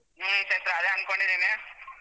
ಹ್ಮ್ ಚೈತ್ರ ಅದೇ ಅನ್ಕೊಂಡಿದ್ದೀನಿ.